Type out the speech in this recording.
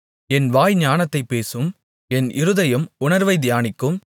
என் வாய் ஞானத்தைப் பேசும் என் இருதயம் உணர்வைத் தியானிக்கும்